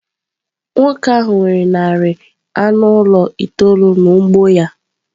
Nwoke ahụ nwere narị anụ ụlọ itoolu n’ugbo ya.